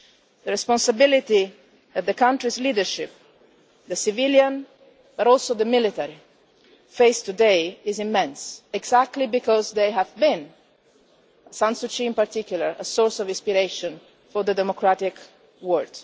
The responsibility that the country's leadership, civilian but also military, faces today is immense exactly because they have been, San Suu Kyi in particular, a source of inspiration for the democratic world.